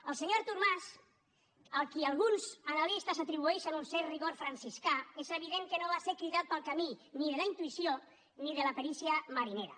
el senyor artur mas a qui alguns analistes atribueixen un cert rigor franciscà és evident que no va ser cridat pel camí ni de la intuïció ni de la perícia marinera